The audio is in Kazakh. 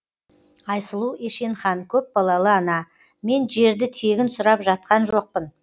айсұлу ешенхан көпбалалы ана мен жерді тегін сұрап жатқан жоқпын